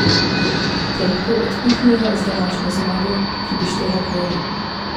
Te lahko odpihnejo z današnjo zmago, ki bi štela dvojno.